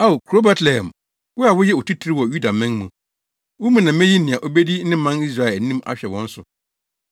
“ ‘Ao kurow Betlehem, wo a woyɛ otitiriw wɔ Yudaman mu, wo mu na meyi nea obedi me man Israel anim ahwɛ wɔn so.’ ”